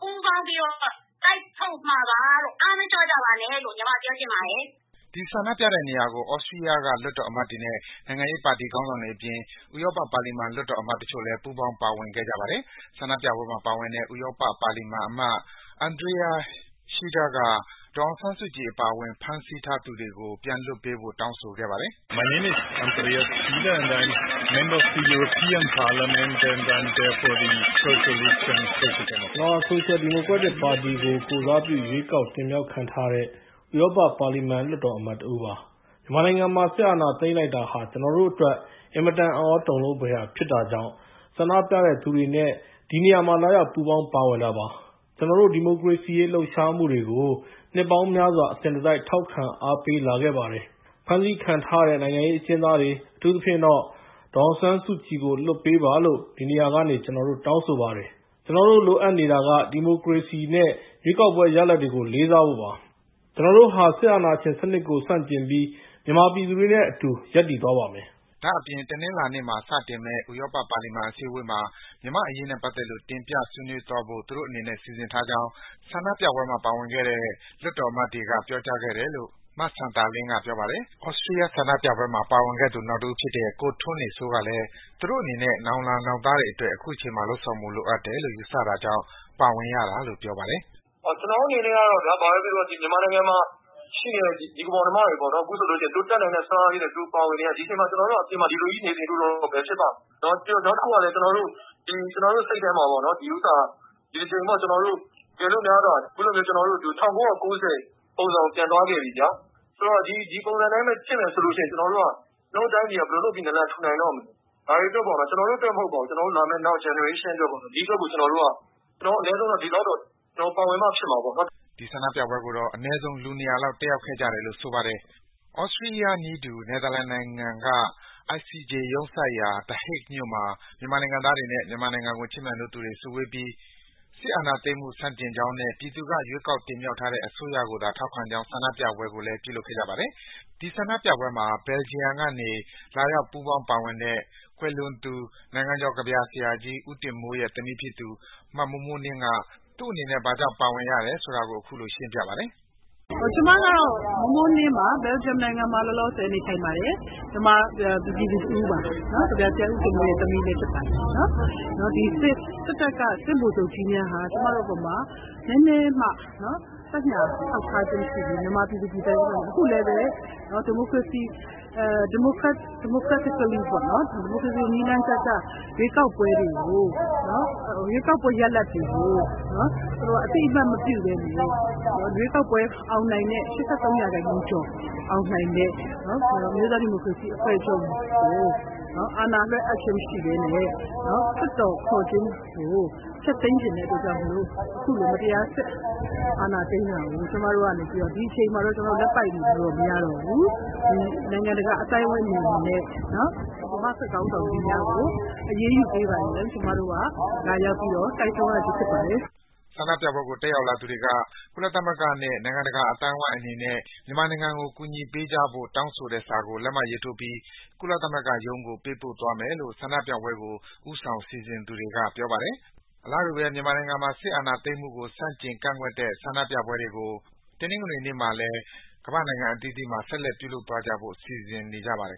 ပူးပေါင်းပြီးတော့ တိုက်ထုတ်မှာပါလို့။ အားမလျော့ကြပါနဲ့လို့ ညီမပြောချင်ပါတယ်။” ဒီ ဆန္ဒပြတဲ့နေရာကို သြစတီးယားက လွှတ်တော်အမတ်တွေနဲ့ နိုင်ငံရေးပါတီခေါင်းဆောင်တွေအပြင် ဥရောပပါလီမန် လွှတ်တော်အမတ်တချို့လည်း ပူးပေါင်း ပါဝင်ခဲ့ကြပါတယ်။ ဆန္ဒပြပွဲမှာ ပါဝင်တဲ့ ဥရောပပါလီမန်အမတ် Andreas Schieder က ဒေါ်အောင်ဆန်းစုကြည် အပါအဝင် ဖမ်းဆီးထားသူတွေကို ပြန်လွှတ်ပေးဖို့ တောင်းဆိုခဲ့ပါတယ်။ “ကျနော့်နာမည်ကတော့ Andreas Schieder ပါ။ ကျနော်ဟာ ဆိုရှယ်ဒီမိုကရက်ပါတီကို ကိုယ်စားပြုရွေးကောက်တင်မြှောက်ခံထားရတဲ့ ဥရောပပါလီမန် လွှတ်တော်အမတ်တဦး ဖြစ်ပါတယ်။ မြန်မာနိုင်ငံမှာ စစ်အာဏာသိမ်းလိုက်တာဟာ ကျနော်တို့အတွက် အင်မတန် အံ့သြ တုန်လှုပ်ဖွယ်ရာဖြစ်တာကြောင့် ဆန္ဒပြသူတွေနဲ့ ဒီနေရာမှာ လာရောက် ပူးပေါင်း ပါဝင်တာပါ။ ကျနော်တို့ ဒီမိုကရေစီအရေး လှုပ်ရှားမှုတွေကို နှစ်ပေါင်းများစွာ အစဉ်တစိုက် ထောက်ခံ အားပေးလာခဲ့ပါတယ်။ ဖမ်းဆီးခံထားရတဲ့ နိုင်ငံရေးအကျဉ်းသားတွေ၊ အထူးသဖြင့်တော့ ဒေါ်အောင်ဆန်းစုကြည်ကို လွှတ်ပေးပါလို့ ဒီနေရာကနေ ကျနော်တို့ တောင်းဆိုပါတယ်။ ကျနော်တို့ လိုအပ်နေတာက ဒီမိုကရေစီနဲ့ ရွေးကောက်ပွဲရလဒ်တွေကို လေးစားဖို့ပါ။ ကျနော်တို့ဟာ စစ်အာဏာရှင်စနစ်ကို ဆန့်ကျင်ပြီး မြန်မာပြည်သူတွေနဲ့ အတူရပ်သွားပါမယ်။” ဒါ့အပြင် တနင်္လာနေ့မှာ စတင်မယ့် ဥရောပ ပါလီမန်အစည်းဝေးမှာ မြန်မာ့အရေးနဲ့ပတ်သက်လို့ တင်ပြဆွေးနွေးသွားဖို့ သူတို့အနေနဲ့ စီစဉ်ထားကြောင်း ဆန္ဒပြပွဲမှာ ပါဝင်ခဲ့တဲ့ လွှတ်တော်အမတ်တွေက ပြောကြားခဲ့တယ်လို့ မစံသာလင်းက ပြောပါတယ်။ သြစတီးယားက ဆန္ဒပြပွဲမှာ ပါဝင်ခဲ့သူ နောက်တဦးဖြစ်တဲ့ ကိုထွန်းနေစိုးကလည်း သူတို့အနေနဲ့ နောင်လာ နောက်သားတွေအတွက် အခုချိန်မှာ လုပ်ဆောင်ဖို့ လိုအပ်တယ်လို့ ယူဆတာကြောင့် ပါဝင်ရတာလို့ ပြောပါတယ်။ "ကျနော်တို့ အနေနဲ့ကတော့ ဘာဘဲ ပြောပြော ဒီ မြန်မာနိုင်ငံမှာ ရှိနေတဲ့ ညီအကို မောင်နှမတွေ ပေါ့နော်။ အခုဆိုလို့ ရှိရင် သူတို့ တတ်နိုင်တဲ့ စွမ်းအားလေးနဲ့ သူတို့ ပါဝင်နေတာ။ ဒီအချိန်မှာ ဆိုလို့ ရှိရင် ကျနော်တို့က အပြင်မှာ ဒီလိုကြီး နေနေလို့တော့ ဘယ်ဖြစ်ပါ့မလဲ။ နောက်တခုကလည်း ကျနော်တု့ိ စိတ်ထဲမှာလည်းဘဲ ဒီ ကျနော်တို့ ဒီတကြိမ်မှာ ကျနော်တို့ ၁၉၉၀ ပုံစံကို ပြန်သွားခဲ့ပြီဗျာ။ ဆိုတော့ ဒီပုံစံ အတိုင်းဘဲ ဖြစ်မယ်ဆိုလို့ ရှိရင် ကျနော်တို့ တိုင်းပြည်က ဘယ်လို လုပ်ပြီး နာလန် ထူနိုင်တော့မလဲ။ ကျနော်တို့ အတွက် မဟုတ်ပါဘူး။ ကျနော်တို့ နောက် မျိုးဆက် အတွက်ပေါ့။ ကျနေ်ာတို့က အနည်းဆုံးတော့ ပါဝင်မှ ဖြစ်မှာပေါ့နော်။ " ဆန္ဒပြပွဲကိုတော့ အနည်းဆုံး လူ ၂၀၀ လောက် တက်ရောက်ခဲ့တယ်လို့ ဆိုပါတယ်။ သြစတီးယားနည်းတူ နယ်သာလန်နိုင်ငံက ICJ ရုံးစိုက်ရာ The Hague မြို့မှာ မြန်မာနိုင်ငံသားတွေနဲ့ မြန်မာနိုင်ငံကို ချစ်မြတ်နိုးသူတွေ စုဝေးပြီး စစ်အာဏာသိမ်းမှု ဆန့်ကျင်ကြောင်းနဲ့ ပြည်သူက ရွေးကောက်တင်မြှောက်ထားတဲ့ အစိုးရကိုသာ ထောက်ခံကြောင်း ဆန္ဒပြပွဲ ပြုလုပ်ခဲ့ကြပါတယ်။ ဒီဆန္ဒပြပွဲကို Belgium ကနေ လာရောက် ပူးပေါင်းပါဝင်တဲ့ ကွယ်လွန်သူ နိုင်ငံကျော် ကဗျာဆရာကြီး ဦးတင်မိုးရဲ့ သမီးတဦးဖြစ်သူ မမိုးမိုးနှင်းလည်း ပါဝင်ပါတယ်။ "ကျမကတော့ မိုးမိုးနှင်းပါ။ ဘယ်လ်ဂျီယံ နိုင်ငံမှာ လောလောဆယ် နေထိုင်ပါတယ်။ မြန်မာ ပြည်သူ တဦးပါ။ ကဗျာဆရာ ဦးတင်မိုးရဲ့ သမီးလည်း ဖြစ်ပါတယ်။ စစ်တပ်က စစ်ဗိုလ်ချုပ်ကြီးများဟာ ကျမတို့ အပေါ်မှာ နည်းနည်းမှ သက်ညှာ ထောက်ထားခြင်း မရှိဘဲနဲ့ မြန်မာ ပြည်သူ ပြည်သားတွေ အပေါ်မှာ။ အခုလည်းဘဲ ဒီမိုကရေစီ နည်းလမ်းကျကျ ရွေးကောက်ပွဲ ရလဒ်တွေကို သူတို့က အသိအမှတ် မပြုဘဲ ရွေးကောက်ပွဲ အောင်နိုင်တဲ့ ၈၃ ရာခိုင်နှုန်းကျော် အောင်နိုင်တဲ့ အမျိုးသား ဒီမိုကရေစီ အဖွဲ့ချုပ်ကို အာဏာလွှဲအပ်ခြင်း မရှိဘဲနဲ့ လွှတ်တော် ခေါ်ခြင်းကို ဖျက်သိမ်းချင်တဲ့ အတွက်ကြောင့် မို့လို့ အခုလို မတရား စစ်အာဏာ သိမ်းတာကို ကျမတို့က ဒီအချိန်မှာ လက်ပိုက် နေလို့တော့ မရတော့ဘူး။ နိုင်ငံတကာ အသိုင်းအဝိုင်း အနေနဲ့ မြန်မာ့ စစ်ခေါင်းဆောင်ကြီးများကို အရေးယူ ပေးပါရန် ကျမတို့က လာရောက်ပြီး တိုက်တွန်း ရခြင်းဖြစ်ပါတယ်။ " ဆန္ဒပြပွဲကို တက်ရောက်လာသူတွေက ကုလသမဂ္ဂနဲ့ နိုင်ငံတကာအသိုင်းဝိုင်းအနေနဲ့ မြန်မာနိုင်ငံကို ကူညီပေးကြဖို့ တောင်းဆိုထားတဲ့ စာကို လက်မှတ်ထိုးပြီး ကုလသမဂ္ဂရုံးကို ပေးပို့သွားမယ်လို့ ဆန္ဒပြပွဲကို ဦးဆောင် စီစဉ်သူတွေက ပြောပါတယ်။ အလားတူဘဲ မြန်မာနိုင်ငံမှာ စစ်တပ်က အာဏာသိမ်းတာကို ဆန့်ကျင် ကန့်ကွက်တဲ့ ဆန္ဒပြပွဲတွေ တနင်္ဂနွေနေ့မှာလည်း ကမ္ဘာ့နိုင်ငံအသီးသီးမှာ ဆက်လက် ပြုလုပ်သွားဖို့ စီစဉ်ထားကြပါတယ်